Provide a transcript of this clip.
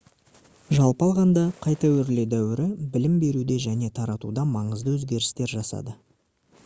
жалпы алғанда қайта өрлеу дәуірі білім беруде және таратуда маңызды өзгерістер жасады